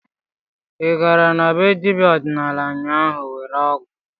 Ị gara na be dibịa ọdịnala ụnyaahụ iwere ọgwụ?